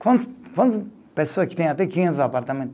Quantas, quantas pessoa que têm até quinhentos apartamento?